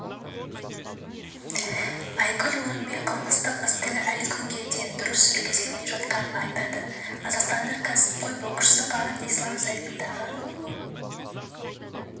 айгүл орынбек қылмыстық істің әлі күнге дұрыс жүргізілмей жатқанын айтады қазақстандық кәсіпқой боксшы қанат ислам сайтындағы